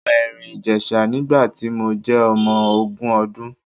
Mo lọ Ẹ̀rìn-Ìjèṣa nígbà tí mo jẹ́ ọmọ ogún ọdún.